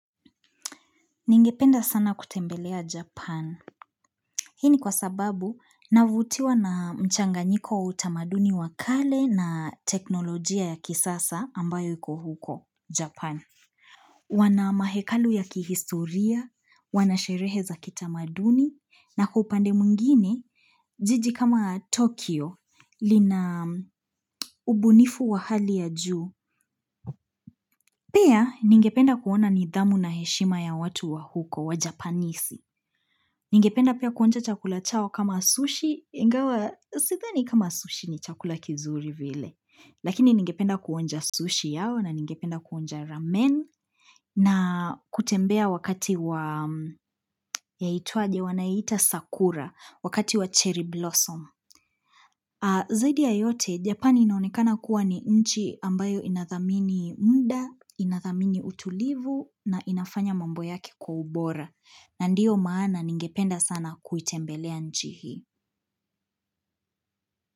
Ningependa sana kutembelea Japan. Hini kwa sababu, navutiwa na mchanganyiko wa utamaduni wakale na teknolojia ya kisasa ambayo yuko huko, Japan. Wana mahekalu ya kihistoria, wanasherehe za kitamaduni, na kupande mwingine, jiji kama Tokyo, lina ubunifu wa hali ya juu. Pia, ningependa kuona nidhamu na heshima ya watu wa huko, wa Japanese. Ningependa pia kuonja chakula chao kama sushi, ingawa sidhani kama sushi ni chakula kizuri vile. Lakini ningependa kuonja ''sushi'' yao na ningependa kuonja ''ramen'' na kutembea wakati wa yaitwaje wanaita sakura, wakati wa ''cherry blossom''. Zaidi ya yote Japani inaonekana kuwa ni nchi ambayo inathamini muda, inathamini utulivu na inafanya mambo yake kwa ubora na ndio maana ningependa sana kuitembelea nchi hii.